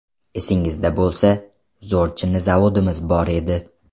Esingizda bo‘lsa, zo‘r chinni zavodimiz bor edi.